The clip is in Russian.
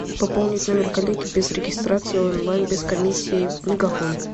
пополнить номер коллеги без регистрации онлайн без комиссии мегафон